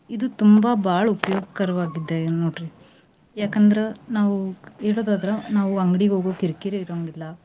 ಇದು ತುಂಬಾ ಬಾಳ್ ಉಪಯೋಗ್ಕರವಾಗಿದೆ ನೋಡ್ರಿ ಯಾಕಂದ್ರ ನಾವು ಇಡದಾದ್ರ ನಾವು ಅಂಗ್ಡಿಗ್ ಹೋಗೋ ಕಿರಿಕಿರಿ ಇರೋಂಗಿಲ್ಲ.